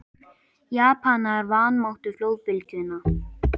Japanar vanmátu flóðbylgjuna